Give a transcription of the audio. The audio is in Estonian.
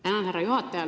Tänan, härra juhataja!